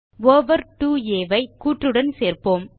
over 2ஆ ஐ கூற்று உடன் சேர்ப்போம்